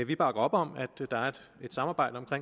vi bakker op om at der er et samarbejde om